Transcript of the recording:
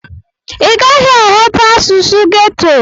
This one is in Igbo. Ị gaghị aghọta asụsụ geto.